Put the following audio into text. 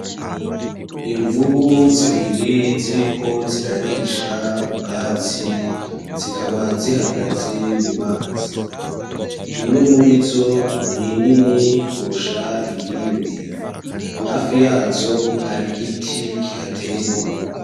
Imvubu zibiri ziriko zirarisha ubwatsi zikaba zihagaze mumazi imwe murizo ni nini kurusha iyindi hafi yazo hari igiti kihateye.